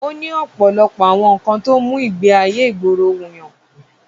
Ó ní ọ̀pọ̀lọpọ̀ àwọn nǹkan tó mú ìgbé ayé ìgboro wùyàn.